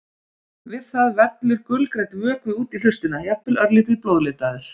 Við það vellur gulgrænn vökvi út í hlustina, jafnvel örlítið blóðlitaður.